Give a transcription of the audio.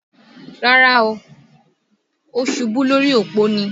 Rárá, ó ṣubú lórí òpó ni